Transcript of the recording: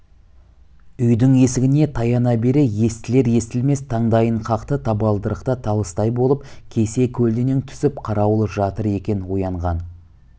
үйдің есігіне таяна бере естілер-естілмес таңдайын қақты табалдырықта талыстай болып кесе-көлденең түсіп қарауыл жатыр екен оянған